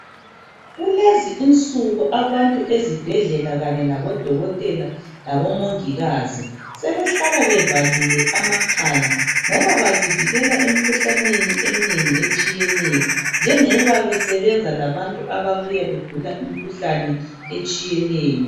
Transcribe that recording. Kulezi insuku abantu ezibhedlela kanye labodokotela labomongikazi sebehlala bevalile amakhala ngoba bazivikevela emkhuhlaneni eminengi etshiyeneyo njengoba besebenza labantu ababuya begula imikhuhlane etshiyeneyo.